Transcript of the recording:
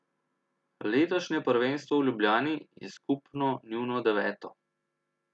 Letošnje prvenstvo v Ljubljani je skupno njuno deveto.